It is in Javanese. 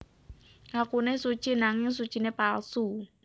Ngakune suci nanging sucine palsu